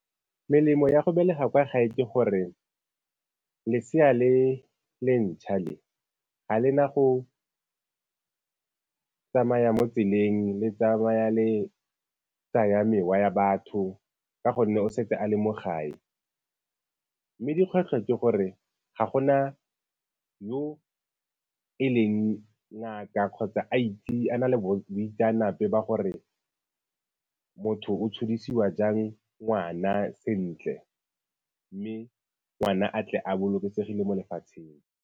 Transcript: Melemo ya go belega kwa gae ke gore lesea le le ntšhwa le, ga le na go tsamaya mo tseleng le tsamaya le tsaya mewa ya batho ka gonne o setse a le mo gae. Mme dikgwetlho ke gore ga go na yo e leng ngaka kgotsa a na le boitseanape ba gore motho o tshodisiwa jang ngwana sentle mme ngwana a tle a bolokesegile mo lefatsheng.